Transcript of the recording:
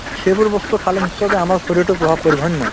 to সেইবোৰ বস্তু খালে নিশ্চয়কৈ আমাৰ শৰীৰটোত প্ৰভাৱ পৰিব হয় নে নহয়